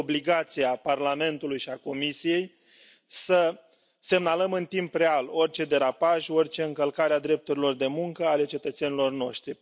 Este obligația Parlamentului și a Comisiei să semnalăm în timp real orice derapaj, orice încălcare a drepturilor de muncă ale cetățenilor noștri.